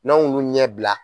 N'an y'olu ɲɛ bila